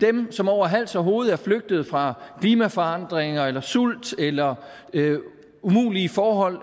dem som over hals og hoved er flygtet fra klimaforandringer sult eller umulige forhold